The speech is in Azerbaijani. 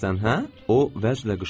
O vəclə qışqırdı.